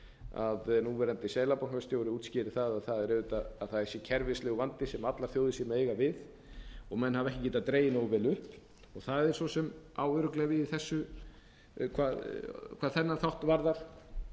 að núverandi seðlabankastjóri útskýrði það að það sé kerfislegur vandi sem allar þjóðir séu að eiga við og menn hafa ekki getað dregið nógu vel upp það svo sem á örugglega við hvað þennan þátt varðar